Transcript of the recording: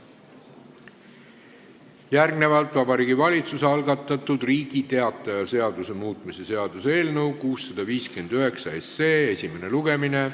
Järgnevalt algab Vabariigi Valitsuse algatatud Riigi Teataja seaduse muutmise seaduse eelnõu 659 esimene lugemine.